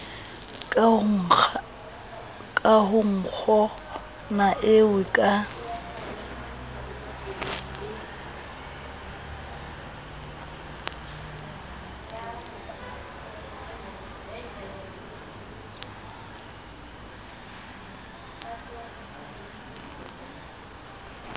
ka ho nkgonae eo ka